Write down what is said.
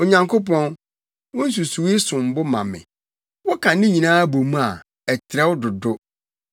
Onyankopɔn, wo nsusuwii som bo ma me! woka ne nyinaa bɔ mu a, ɛtrɛw dodo!